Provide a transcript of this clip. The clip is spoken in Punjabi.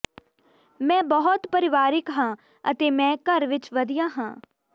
ਮੈਂ ਬਹੁਤ ਪਰਿਵਾਰਿਕ ਹਾਂ ਅਤੇ ਮੈਂ ਘਰ ਵਿੱਚ ਵਧੀਆ ਹਾਂ